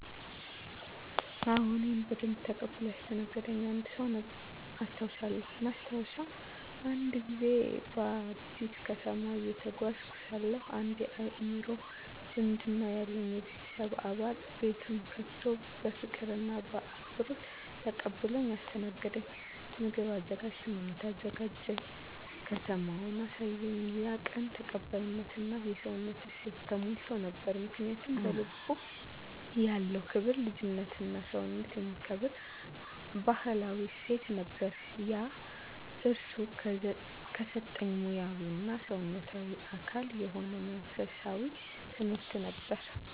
አዎ፣ እኔን በደንብ ተቀብሎ ያስተናገደኝ አንድ ሰው ያስታውሳልኝ። ማስታወሻ፦ አንድ ጊዜ በአዲስ ከተማ እየተጓዝኩ ሳለሁ አንድ የአእምሮ ዝምድና ያለኝ የቤተሰብ አባል ቤቱን ከፍቶ በፍቅር እና በአክብሮት ተቀብሎኝ አስተናገደኝ። ምግብ አዘጋጀልኝ፣ መኝታ አዘጋጀ፣ ከተማውንም አሳየኝ። ያ ቀን ተቀባይነት እና የሰውነት እሴት ተሞልቶ ነበር። ምክንያቱ? በልቡ ያለው ክብር፣ ልጅነትና ሰውነትን የሚከብር ባህላዊ እሴት ነበር። ያ እርሱ ከሰጠኝ ሙያዊ እና ሰውነታዊ አካል የሆነ መንፈሳዊ ትምህርት ነበር።